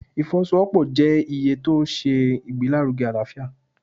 ìfọwọ-sowopọ jẹ iye ti o ṣe ìgbelárúge alaáfiá